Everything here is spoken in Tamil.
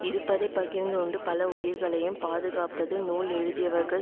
இருப்பதை பகிர்ந்து உண்டு பல உயிர்களையும் பாதுகாப்பது நூல் எழுதியவர்கள்